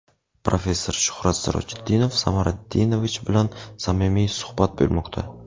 professor Shuhrat Sirojiddinov Samariddinovich bilan samimiy suhbat bo‘lmoqda.